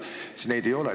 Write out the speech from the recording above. Aga neid ei ole!